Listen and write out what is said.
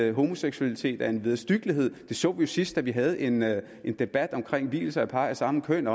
at homoseksualitet er en vederstyggelighed det så vi sidst da vi havde en havde en debat om vielser af par af samme køn